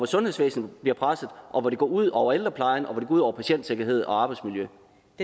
sundhedsvæsen bliver presset og hvor det går ud over ældreplejen og hvor det går ud over patientsikkerhed og arbejdsmiljø